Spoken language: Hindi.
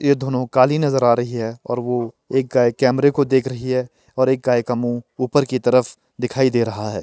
ये दोनों काली नजर आ रही है और वो एक गाय कैमरा को देख रही है और एक गाय का मुंह ऊपर की तरफ दिखाई दे रहा है।